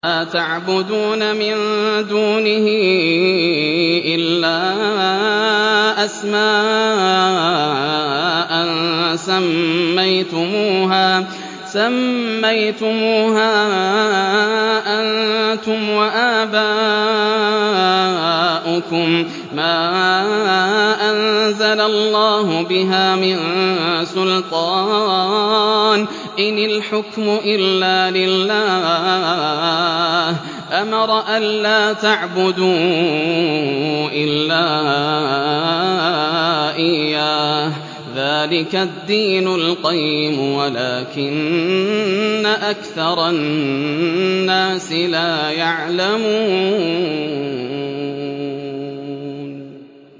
مَا تَعْبُدُونَ مِن دُونِهِ إِلَّا أَسْمَاءً سَمَّيْتُمُوهَا أَنتُمْ وَآبَاؤُكُم مَّا أَنزَلَ اللَّهُ بِهَا مِن سُلْطَانٍ ۚ إِنِ الْحُكْمُ إِلَّا لِلَّهِ ۚ أَمَرَ أَلَّا تَعْبُدُوا إِلَّا إِيَّاهُ ۚ ذَٰلِكَ الدِّينُ الْقَيِّمُ وَلَٰكِنَّ أَكْثَرَ النَّاسِ لَا يَعْلَمُونَ